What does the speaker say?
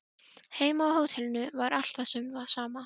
Heima á hótelinu var allt við það sama.